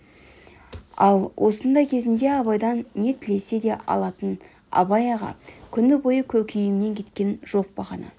ол осындай кезінде абайдан не тілесе де алатын абай аға күні бойы көкейімнен кеткен жоқ бағана